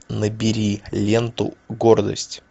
набери ленту гордость